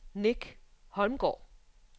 Nick Holmgaard